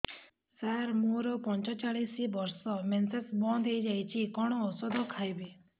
ସାର ମୋର ପଞ୍ଚଚାଳିଶି ବର୍ଷ ମେନ୍ସେସ ବନ୍ଦ ହେଇଯାଇଛି କଣ ଓଷଦ ଖାଇବି